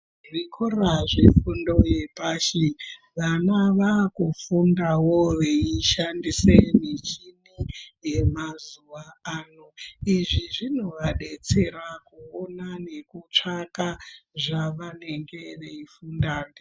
Zvikora zvefundo zvepashi vana vaakufundawo veishandisa michini yemazuwa ano. Izvi zvinovadetsera kuona nekutsvaka zvavanenge veifunda.